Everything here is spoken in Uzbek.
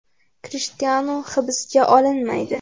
Krishtianu hibsga olinmaydi.